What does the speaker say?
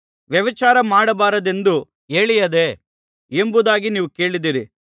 ವ್ಯಭಿಚಾರ ಮಾಡಬಾರದೆಂದು ಹೇಳಿಯದೆ ಎಂಬುದಾಗಿ ನೀವು ಕೇಳಿದ್ದೀರಿ